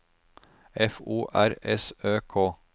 F O R S Ø K